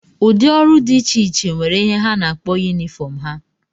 Ụdị ọrụ dị iche iche nwere ihe ha na-akpọ yunifọm ha